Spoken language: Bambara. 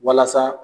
Walasa